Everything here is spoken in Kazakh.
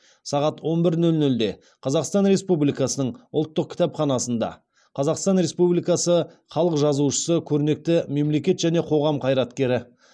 сағат он бір нөл нөлде қазақстан республикасының ұлттық кітапханасында қазақстан республикасы халық жазушысы көрнекті мемлекет және қоғам қайраткері